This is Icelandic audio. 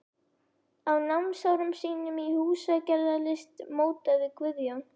Á námsárum sínum í húsagerðarlist mótaði Guðjón